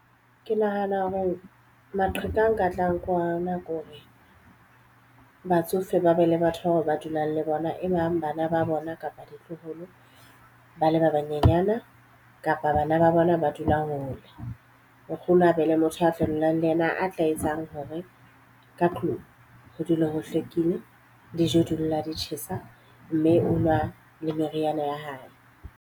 Ke nahana hore maqheka e nka tlang ka ona ke hore batsofe ba be le batho bao ba dulang le bona, e bang bana ba bona kapa ditloholo, ba le ba banyenyana. Kapa bana ba ba bona ba dula hole nkgono a be le motho ya fetolang le yena a tla etsang hore ka tlung ho dule ho hlwekile, dijo di dula di tjhesa, mme o nwa le meriana ya hae.